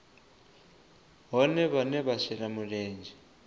vhohe vhane vha shela mulenzhe